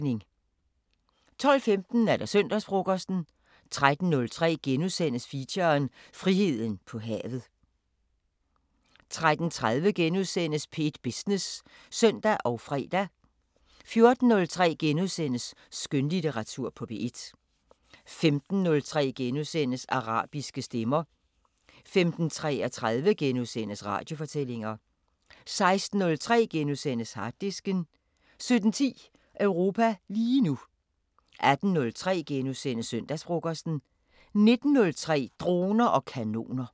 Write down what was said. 12:15: Søndagsfrokosten 13:03: Feature: Friheden på havet * 13:30: P1 Business *(søn og fre) 14:03: Skønlitteratur på P1 * 15:03: Arabiske Stemmer * 15:33: Radiofortællinger * 16:03: Harddisken * 17:10: Europa lige nu 18:03: Søndagsfrokosten * 19:03: Droner og kanoner